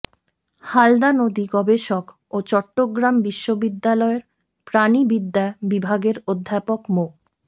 হালদা নদী গবেষক ও চট্টগ্রাম বিশ্ববিদ্যালয়ের প্রাণিবিদ্যা বিভাগের অধ্যাপক মো